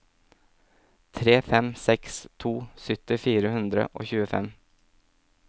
tre fem seks to sytti fire hundre og tjuefem